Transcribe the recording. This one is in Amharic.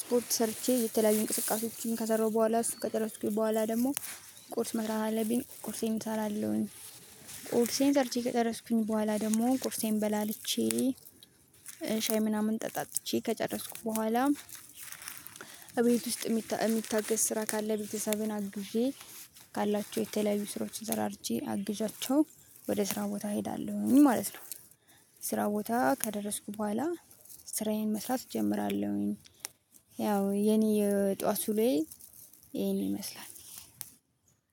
ስፖርት ሰርቼ የተለያዩ እንቅስቃሴዎችን ከሰራሁ በኋላ እሱ ከጠረስኩኝ በኋላ ደግሞ ቁርስ መስራት አለብኝ ቁርሴን እሰራለሁኝ። ቁርሴን ዘርቼ ከጠረስኩኝ በኋላ ደግሞ ቁርሴን በላልቼ ሻይ ምናምን ጠጣችኝ ከጨረስኩ በኋላ። እቤት ውስጥ የሚታገስ ስራ ካለ ቤተሰብን አግዤ ካላቸው የተለያዩ ስራዎች ዘራርቼ አግዣቸው ወደ ስራ ቦታ እሄዳለሁኝ ማለት ነው። ስራ ቦታ ከደረስኩ በኋላ ስራዬን መስራት እጀምራለሁኝ። ያው የኔ የጧት ዉሎዬ ይሄን ይመስላል።